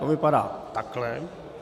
To vypadá takhle.